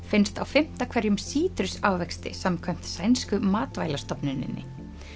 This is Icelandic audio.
finnst á fimmta hverjum sítrusávexti samkvæmt sænsku matvælastofnuninni